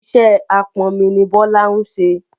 Iṣẹ́ apọnmi tà ni Bọ́lá ń ṣẹ.